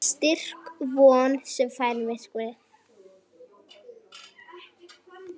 Styrk von sem svæfir myrkrið.